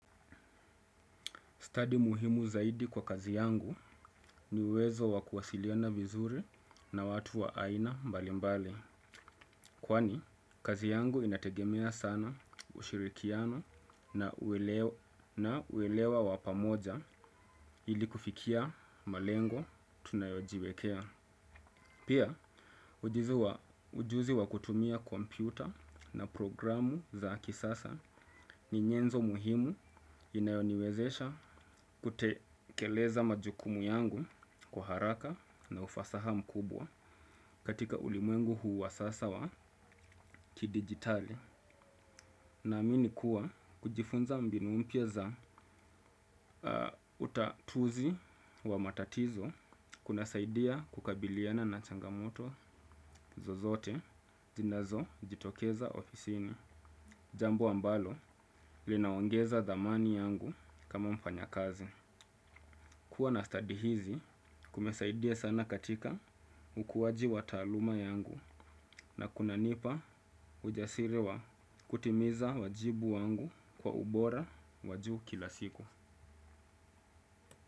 Stadi muhimu zaidi kwa kazi yangu ni uwezo wakuwasiliana vizuri na watu wa aina mbali mbali. Kwani kazi yangu inategemea sana ushirikiano na uelewa wa pamoja ili kufikia malengo tunayojiwekea. Pia ujuzi wa kutumia komputa a na programu za kisasa ni nyenzo muhimu inayoniwezesha kutekeleza majukumu yangu kwa haraka na ufasaha mkubwa katika ulimwengu huu wa sasa wa kidigitali. Naamini kuwa kujifunza mbinu umpya za utatuzi wa matatizo kuna saidia kukabiliana na changamoto zozote zinazo jitokeza ofisini. Jambo ambalo linaongeza thamani yangu kama mfanyakazi. Kuwa na stadi hizi kumesaidia sana katika ukuwaji wa taaluma yangu na kunanipa ujasiri wa kutimiza wajibu wangu kwa ubora wa juu kila siku.